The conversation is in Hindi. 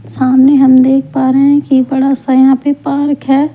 सामने हम देख पा रहे हैं कि बड़ा सा यहां पे पार्क है।